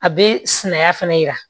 A bɛ sinaya fana yira